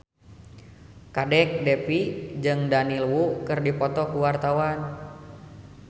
Kadek Devi jeung Daniel Wu keur dipoto ku wartawan